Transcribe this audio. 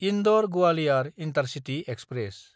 इन्दर–गोवालिअर intercity express